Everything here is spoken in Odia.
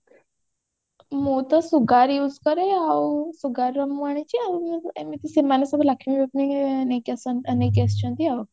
ମୁଁ ତ sugar use କରେ ଆଉ sugar ର ମୁଁ ଆଣିଛି ଆଉ ଏମିତି ସେମାନେ ସବୁ Lakme ଫାକମି ନେଇକି ନେଇକି ଆସିଛନ୍ତି ଆଉ